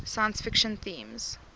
science fiction themes